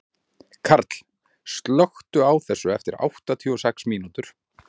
Karl, slökktu á þessu eftir áttatíu og sex mínútur.